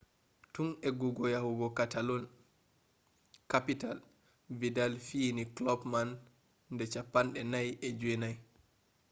tun eggugo yahugo catalan-capital vidal fiyini club man de 49